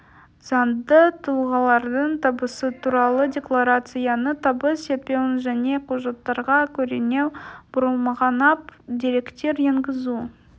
заңды тұлғалардың табысы туралы декларацияны табыс етпеуі және құжаттарға көрінеу бұрмаланған деректер енгізу